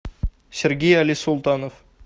сергей али султанов